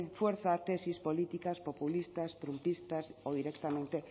fuerza tesis políticas populistas triunfalistas o directamente